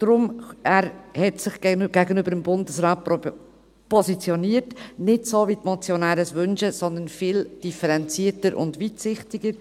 Er hat sich gegenüber dem Bundesrat positioniert, nicht so, wie es die Motionäre wünschen, sondern viel differenzierter und weitsichtiger.